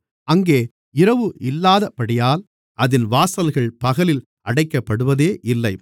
அங்கே இரவு இல்லாதபடியால் அதின் வாசல்கள் பகலில் அடைக்கப்படுவதே இல்லை